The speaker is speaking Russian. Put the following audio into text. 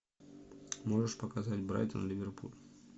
можешь показать брайтон ливерпуль